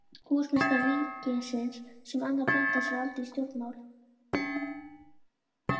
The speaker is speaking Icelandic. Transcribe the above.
Húsameistari ríkisins, sem annars blandaði sér aldrei í stjórnmál.